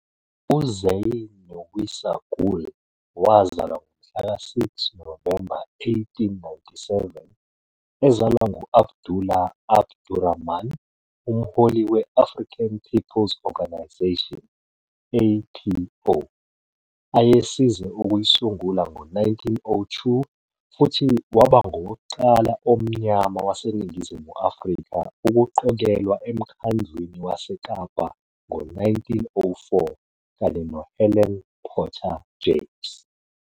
UZainunnisa Gool wazalwa ngomhla ka 6 Novemba 1897 ezalwa ngu-Abdullah Abdurahman, umholi we-African Peoples Organisation, APO, ayesize ukuyisungula ngo-1902 futhi waba ngowokuqala omnyama waseNingizimu Afrika ukuqokelwa eMkhandlwini waseKapa ngo-1904, kanye noHelen Potter James.